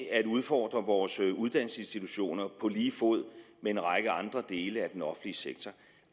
at udfordre vores uddannelsesinstitutioner på lige fod med en række andre dele af den offentlige sektor